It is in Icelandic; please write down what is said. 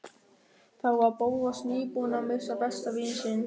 Þá var Bóas nýbúinn að missa besta vin sinn.